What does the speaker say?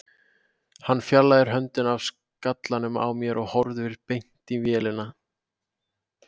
Hann fjarlægir höndina af skallanum á mér og horfir beint í vélina.